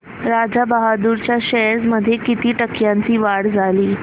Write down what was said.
राजा बहादूर च्या शेअर्स मध्ये किती टक्क्यांची वाढ झाली